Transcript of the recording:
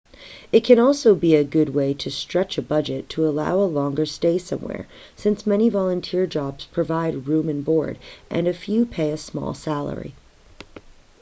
it can also be a good way to stretch a budget to allow a longer stay somewhere since many volunteer jobs provide room and board and a few pay a small salary